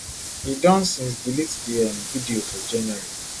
e don since delete di um video for january